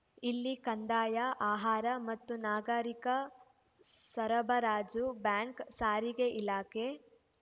ಇಲ್ಲಿ ಕಂದಾಯ ಆಹಾರ ಮತ್ತು ನಾಗರಿಕ ಸರಬರಾಜು ಬ್ಯಾಂಕ್‌ ಸಾರಿಗೆ ಇಲಾಖೆ